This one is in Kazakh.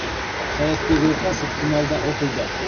саятбек оқасов финалда ұтылды